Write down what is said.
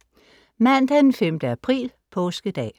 Mandag den 5. april. påskedag